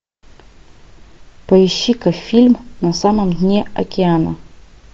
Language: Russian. поищи ка фильм на самом дне океана